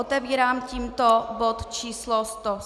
Otevírám tímto bod číslo